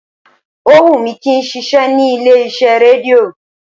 Ó wù mí kí n ṣiṣẹ́ ní ilé iṣẹ́ rédíò